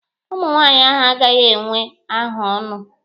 Nwaanyị ahụ agaghị enwe ahaọnụ.